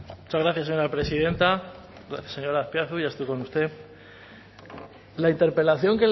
muchas gracias señora presidenta señor azpiazu ya estoy con usted la interpelación